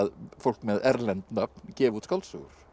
fólk með erlend nöfn gefi út skáldsögur